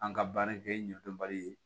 An ka baara kɛ ɲɛdɔnbali ye